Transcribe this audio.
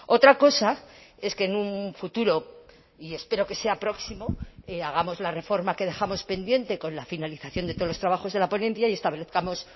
otra cosa es que en un futuro y espero que sea próximo hagamos la reforma que dejamos pendiente con la finalización de todos los trabajos de la ponencia y establezcamos